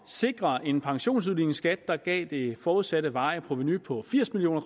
sikre en pensionsudligningsskat der gav det forudsatte varige provenu på firs million